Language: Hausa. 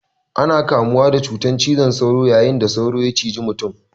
Ana kamuwa da cutan cizon sauro yayin da sauro ya ciji mutum.